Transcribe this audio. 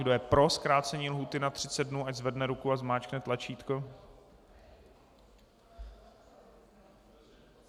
Kdo je pro zkrácení lhůty na 30 dnů, ať zvedne ruku a zmáčkne tlačítko.